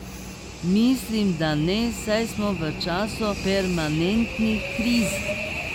Mislim, da ne, saj smo v času permanentnih kriz.